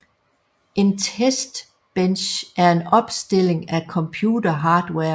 En testbench er en opstilling af computerhardware